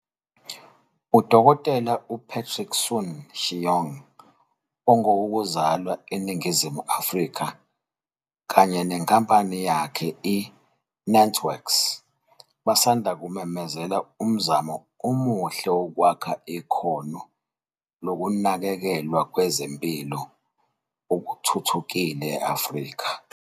UDkt u-Patrick Soon-Shiong ongowoku zalwa eNingizimu Afrika kanye nenkampani yakhe i-NantWorks basanda kumemezela umzamo omuhle wokwakha ikhono lokunakekelwa kwezempilo okuthuthukile e-Afrika.